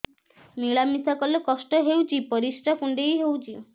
ମିଳା ମିଶା କଲେ କଷ୍ଟ ହେଉଚି ପରିସ୍ରା କୁଣ୍ଡେଇ ହଉଚି